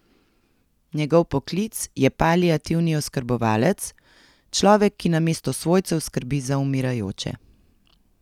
Njegov poklic je paliativni oskrbovalec, človek, ki namesto svojcev skrbi za umirajoče.